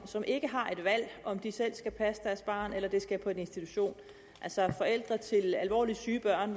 som ikke har et valg om de selv skal passe deres barn eller det skal på en institution altså forældre til alvorligt syge børn